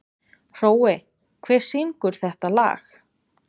Hrói, hver syngur þetta lag?